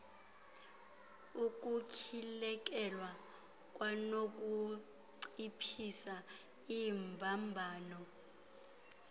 ukutyhilekelwa kwanokunciphisa iimbambano